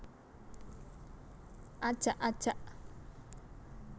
Ajak ajak